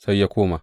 Sai ya koma.